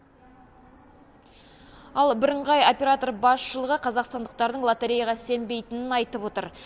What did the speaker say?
ал бірыңғай оператор басшылығы қазақстандықтардың лотереяға сенбейтінін айтып отыр